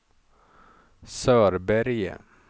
Sörberge